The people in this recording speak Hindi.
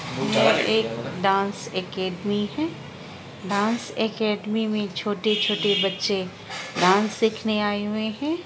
यह एक डांस ऐकेडमी है डांस ऐकेडमी में छोटे छोटे बच्चे डांस सीखने आये हुए हैं।